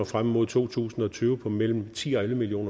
frem mod to tusind og tyve på mellem ti og elleve million